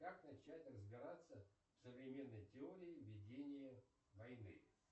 как начать разбираться в современной теории ведения войны